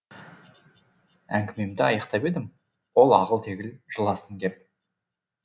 әңгімемді аяқтап едім ол ағыл тегіл жыласын кеп